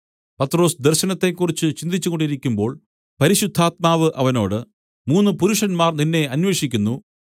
പത്രൊസ് ദർശനത്തെക്കുറിച്ച് ചിന്തിച്ചുകൊണ്ടിരിക്കുമ്പോൾ പരിശുദ്ധാത്മാവ് അവനോട് മൂന്നു പുരുഷന്മാർ നിന്നെ അന്വേഷിക്കുന്നു